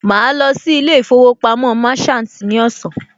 Màá lọ sí ilé ìfowópamọ́ Merchant ní ọ̀sán